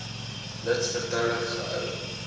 lid vertroulik gehou